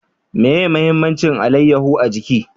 Meye mahimmancin alayaho a jiki?